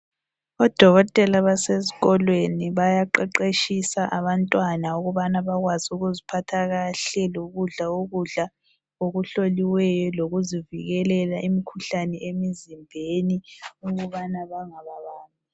Odokotela basesikolweni bayaqeqetshisa abantwana ukubana bakwazi ukuziphatha kahle lokudla ukudla okuhloliweyo lokuzivikela imikhuhlane emzimbeni ukubana bangabambi.